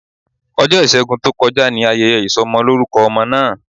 Ọjọ́ ìṣẹ́gun tó kọjá ni ayẹyẹ ìsọmọlórúkọ ọmọ náà